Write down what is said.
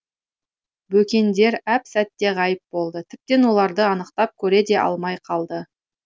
бөкендер әп сәтте ғайып болды тіптен оларды анықтап көре де алмай қалды